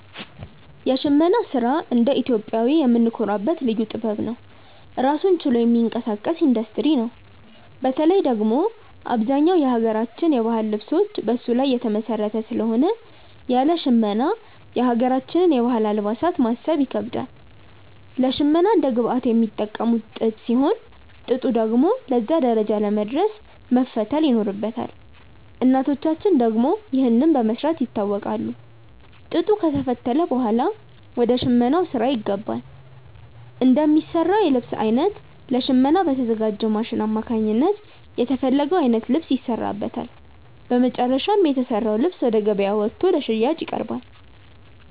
የሽመና ስራ እንደ ኢትዮጵያዊ የምንኮራበት ልዩ ጥበብ ነው። ራሱን ችሎ የሚንቀሳቀስ ኢንዱስትሪ ነው። በተለይ ደግሞ አብዛኛው የሀገራችን የባህል ልብሶች በሱ ላይ የተመሰረተ ስለሆነ ያለ ሽመና የሀገራችንን የባህል አልባሳት ማሰብ ይከብዳል። ለሽመና እንደ ግብአት የሚጠቀሙት ጥጥ ሲሆን፣ ጥጡ ደግሞ ለዛ ደረጃ ለመድረስ መፈተል ይኖርበታል። እናቶቻችን ደግሞ ይህንን በመስራት ይታወቃሉ። ጥጡ ከተፈተለ ብኋላ ወደ ሽመናው ስራ ይገባል። እንደሚሰራው የልብስ አይነት ለሽመና በተዘጋጅው ማሽን አማካኝነት የተፈለገው አይነት ልብስ ይሰራበታል። በመጨረሻም የተሰራው ልብስ ወደ ገበያ ወጥቶ ለሽያጭ ይቀርባል።